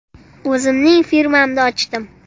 O‘zimning firmamni ochdim.